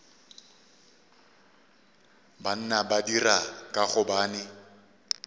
banna ba dira ka gobane